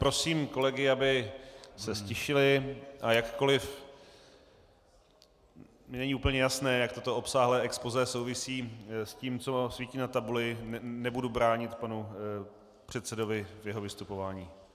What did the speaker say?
Prosím kolegy, aby se ztišili, a jakkoliv mi není úplně jasné, jak toto obsáhlé expozé souvisí s tím, co svítí na tabuli, nebudu bránit panu předsedovi v jeho vystupování.